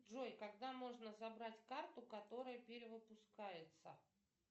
джой когда можно забрать карту которая перевыпускается